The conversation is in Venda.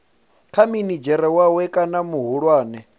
kha minidzhere wawe kana muhulwane